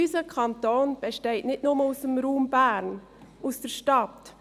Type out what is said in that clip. Unser Kanton besteht nicht nur aus dem Raum Bern, aus der Stadt.